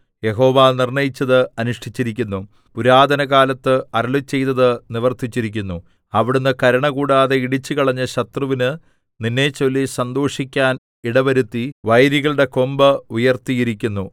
യഹോവ നിർണ്ണയിച്ചത് അനുഷ്ഠിച്ചിരിക്കുന്നു പുരാതനകാലത്ത് അരുളിച്ചെയ്തത് നിവർത്തിച്ചിരിക്കുന്നു അവിടുന്ന് കരുണ കൂടാതെ ഇടിച്ചുകളഞ്ഞ് ശത്രുവിന് നിന്നെച്ചൊല്ലി സന്തോഷിക്കാൻ ഇടവരുത്തി വൈരികളുടെ കൊമ്പ് ഉയർത്തിയിരിക്കുന്നു